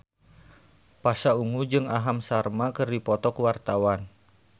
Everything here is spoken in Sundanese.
Pasha Ungu jeung Aham Sharma keur dipoto ku wartawan